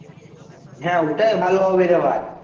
হ্যা ঐটাই ভালো হবে রে ভাই